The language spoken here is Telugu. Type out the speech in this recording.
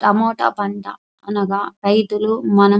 టమోటా పంట అనగా రైతులు మనం --